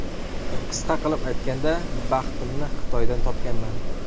Qisqa qilib aytganda, baxtimni Xitoydan topganman.